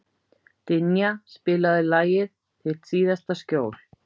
Dynja, spilaðu lagið „Þitt síðasta skjól“.